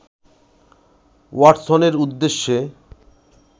ওয়াটসনের উদ্দেশ্যে